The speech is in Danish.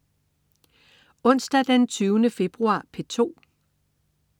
Onsdag den 20. februar - P2: